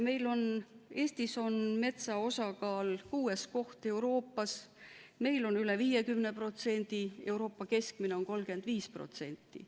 Eesti on metsa osakaalult kuuendal kohal Euroopas, meil on üle 50%, Euroopa keskmine on 35%.